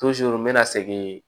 n mɛna segin